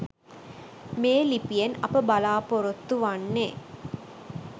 මේ ලිපියෙන් අප බලාපොරොත්තු වන්නේ